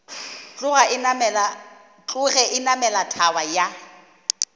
tloge a namela thaba ya